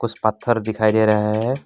कुछ पत्थर दिखाई दे रहा है।